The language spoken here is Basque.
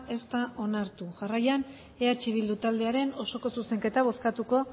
ez da onartu jarraian eh bildu taldearen osoko zuzenketa bozkatuko